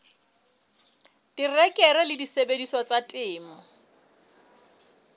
terekere le disebediswa tsa temo